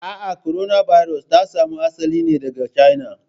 A'a, korona birus ta samo asali ne daga China.